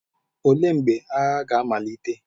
Olee mgbe agha ga-amalite?